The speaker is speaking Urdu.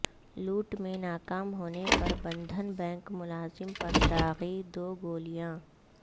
لوٹ میں ناکام ہونے پر بندھن بینک ملازم پر داغی دو گولیاں